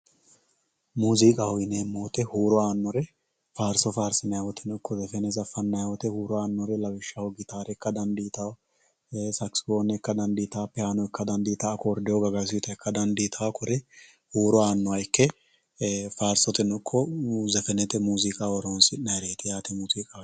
Muuziqaho yinayi woyite huuro aanore faarso faarisinayi woyite iko zefene fanayi woyite hiuro aanore lawishaho, gitaare ika danditawo sakisiphone ikka danditawo piano ikka danditawo, koridiyo gagasuyita ikka danditawo kore huuro aanoha ikke faarisoteno ikko zefenete muuziqaho horonsinayireti yaate